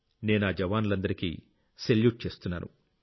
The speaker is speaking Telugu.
నేనా జవానులందరికీ సెల్యూట్ చేస్తున్నాను